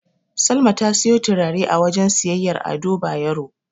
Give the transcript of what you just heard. Salma ta siyo turare a wajen siyayyar Ado Bayero.